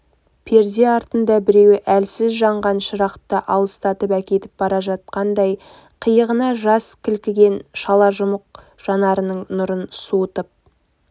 перде артында біреуі әлсіз жанған шырақты алыстатып әкетіп бара жатқнадай қиығына жас кілкіген шала жұмық жанарының нұрын суырып